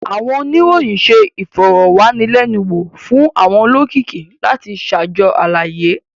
Awọn oniroyin ṣe ifọrọwanilẹnuwo fun awọn olokiki lati ṣajọ alaye.